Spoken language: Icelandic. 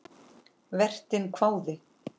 Vertinn hváði.